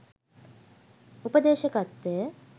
උපදේශකත්වය